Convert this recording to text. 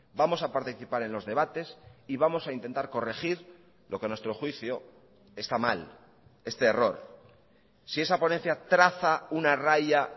vamos a participar en los debates y vamos a intentar corregir lo que a nuestro juicio está mal este error si esa ponencia traza una raya